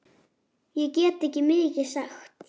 Ég get ekki mikið sagt.